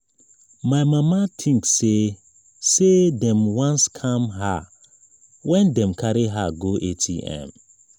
my mama tink sey sey dem wan scam her wen dem carry her go atm.